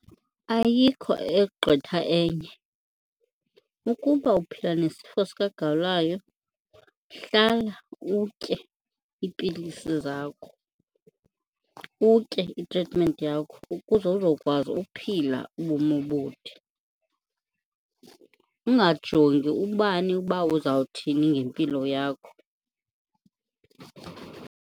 Ayikho egqitha enye, ukuba uphila nesifo sikagawulayo hlala utye iipilisi zakho, utye itritimenti yakho ukuze uzokwazi uphila ubomi obude. Ungajongi ubani uba uzawuthini ngempilo yakho.